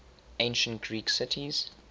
ancient greek cities